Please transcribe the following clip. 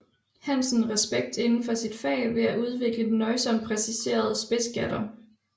Hansen respekt inden for sit fag ved at udvikle den nøjsomt præciserede spidsgatter